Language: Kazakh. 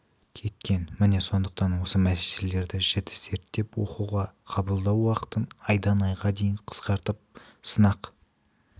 кеткен міне сондықтан осы мәселелерді жіті зерттеп оқуға қабылдау уақытын айдан айға дейін қысқартып сынақ